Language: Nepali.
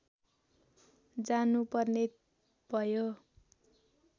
जानु पर्ने भयो